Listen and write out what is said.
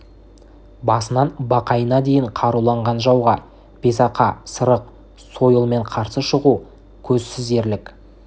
басынан бақайына дейін қаруланған жауға бесақа сырық сойылмен қарсы шығу көзсіз ерлік